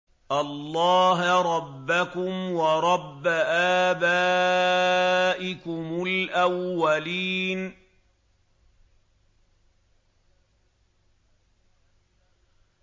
اللَّهَ رَبَّكُمْ وَرَبَّ آبَائِكُمُ الْأَوَّلِينَ